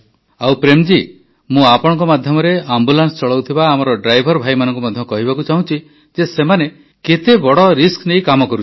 ଆଉ ପ୍ରେମ୍ ଜୀ ମୁଁ ଆପଣଙ୍କ ମାଧ୍ୟମରେ ଆମ୍ବୁଲାନ୍ସ ଚଳାଉଥିବା ଆମର ଡ୍ରାଇଭର୍ ଭାଇମାନଙ୍କୁ ମଧ୍ୟ କହିବାକୁ ଚାହୁଁଛି ଯେ ସେମାନେ କେତେ ବଡ଼ କ୍ସସଗ୍ଦଳ ନେଇ କାମ କରୁଛନ୍ତି